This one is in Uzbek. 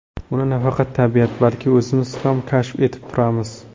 Uni nafaqat tabiat, balki o‘zimiz ham kashf etib turamiz.